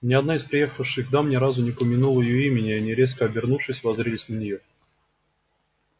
ни одна из приехавших дам ни разу не упомянула её имени и они резко обернувшись воззрились на неё